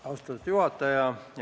Austatud juhataja!